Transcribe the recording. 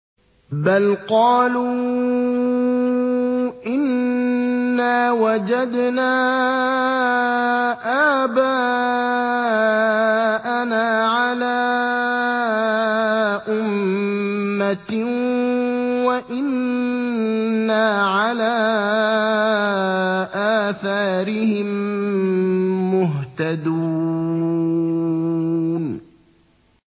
بَلْ قَالُوا إِنَّا وَجَدْنَا آبَاءَنَا عَلَىٰ أُمَّةٍ وَإِنَّا عَلَىٰ آثَارِهِم مُّهْتَدُونَ